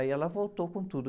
Aí ela voltou com tudo.